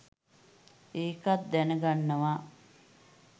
ඒකත් දැනගන්නවා.